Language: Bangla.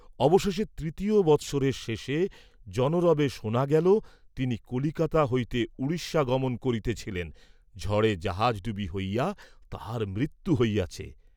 অবশেষে তৃতীয় বৎসরের শেষে জনরবে শোনা গেল, তিনি কলিকাতা হইতে উড়িষ্যা গমন করিতেছিলেন, ঝড়ে জাহাজডুবি হইয়া তাঁহার মৃত্যু হইয়াছে।